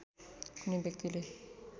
कुनै व्यक्तिले